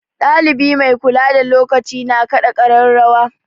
Ɗalibi mai kula da lokaci na kaɗa ƙararrawa.